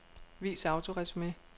Vis autoresumé.